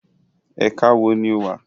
Ẹ̀ka wo ni o wà?